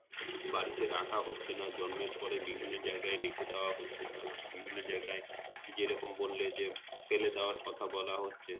বাড়িতে রাখা হচ্ছে না জন্মের পর ই বিভিন্ন যায়গায় রেখে দেওয়া হচ্ছে বা বিভিন্ন যায়গায় যেরকম বললে যে, ফেলে দেওয়ার কথা বলা হচ্ছে!